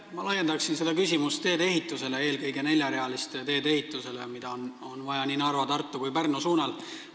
Ma laiendaksin seda küsimust teedeehitusele, eelkõige neljarealiste teede ehitusele, mida on vaja nii Narva, Tartu kui ka Pärnu suunal.